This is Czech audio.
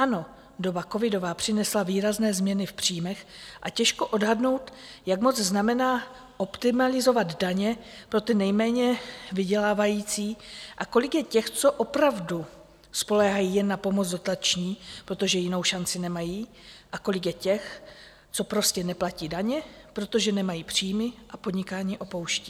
Ano, doba covidová přinesla výrazné změny v příjmech a těžko odhadnout, jak moc znamená optimalizovat daně pro ty nejméně vydělávající a kolik je těch, co opravdu spoléhají jen na pomoc dotační, protože jinou šanci nemají, a kolik je těch, co prostě neplatí daně, protože nemají příjmy a podnikání opouštějí.